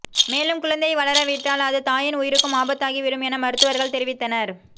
மேலும் குழந்தையை வளரவிட்டால் அது தாயின் உயிருக்கும் ஆபத்தாகி விடும் என மருத்துவர்கள் தெரிவித்தனர்